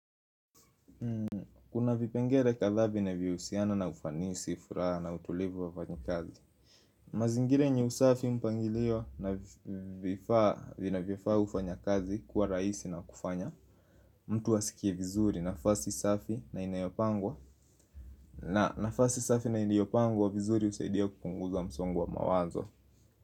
Kuna vipengere kadhaa vinavyo husiana na ufanisi furaha na utulivu wa wafanyi kazi mazingira yenye usafi mpangilio na vifaa vinavyo faa ufanyakazi kuwa rahisi na kufanya mtu asikie vizuri nafasi safi na inayopangwa, na nafasi safi na iliyopangwa vizuri kusaidia kupunguza msongo wa mawazo.